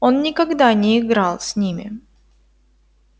он никогда не играл с ними